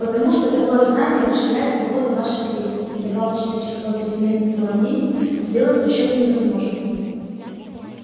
потому что такое знание расширяет свободу ваших действий и добавочное число переменных в уравнении сделает расчёты невозможными